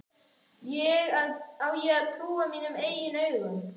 Á ég að trúa mínum eigin augum?